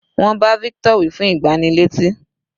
Wọ́n bá victor wí fún ìgbánilétí.